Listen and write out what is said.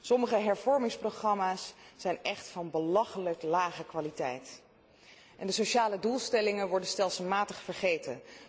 Sommige hervormingsprogramma's zijn echt van belachelijk lage kwaliteit en de sociale doelstellingen worden stelselmatig vergeten.